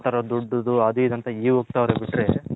ಆ ತರ ದೊಡ್ಡದು ಅಂತ ಇಗೆ ಒಗ್ತವ್ರೆ ಬಿಟ್ರೆ.